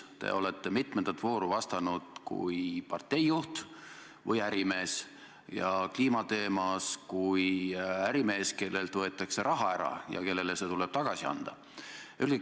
Te olete mitmendat vooru vastanud kui parteijuht või ärimees, ja kliimateema puhul kui ärimees, kellelt võetakse raha ära ja kellele see tuleb tagasi anda.